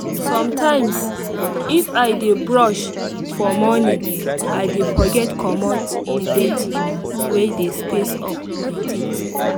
sometimes if i dey rush for morning i dey forget commot the dirty wey dey space of teeth